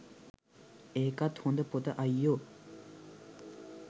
ඒකත් හොඳ පොත අයියෝ